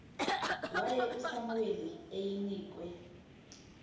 waye usamuweli eyinkwe